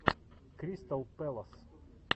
кристал пэлас